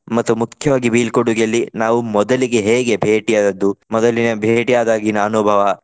ಮತ್ತು ಮುಖ್ಯವಾಗಿ ಬೀಳ್ಕೊಡುಗೆಯಲ್ಲಿ ನಾವು ಮೊದಲಿಗೆ ಹೇಗೆ ಭೇಟಿಯಾದದ್ದು. ಮೊದಲಿನ ಭೇಟಿಯಾದಾಗಿನ ಅನುಭವ.